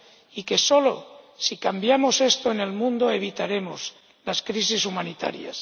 Y solo si cambiamos esto en el mundo, evitaremos las crisis humanitarias.